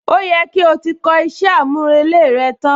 Ó yẹ kí o ti kọ iṣẹ́ àmúrelé rẹ tán!